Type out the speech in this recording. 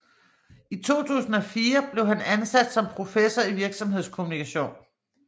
I 2004 blev han ansat som professor i virksomhedskommunikation